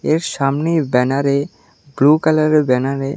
এর সামনে ব্যানারে ব্লু কালারে ব্যানারে --